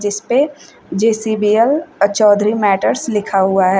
इसपे जे_सी_बी_एल और चौधरी मैटर्स लिखा हुआ है।